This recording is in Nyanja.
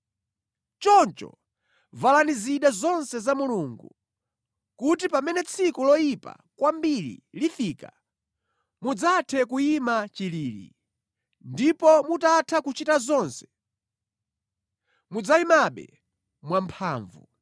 Choncho valani zida zonse za Mulungu, kuti pamene tsiku loyipa kwambiri lifika, mudzathe kuyima chilili, ndipo mutatha kuchita zonse, mudzayimabe mwamphamvu.